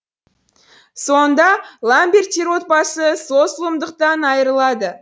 соңында ламберттер отбасы сол зұлымдықтан айырылады